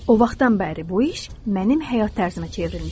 O vaxtdan bəri bu iş mənim həyat tərzimə çevrilmişdi.